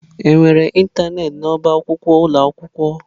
Enwere ịntanetị n'ọba akwụkwọ ụlọ akwụkwọ?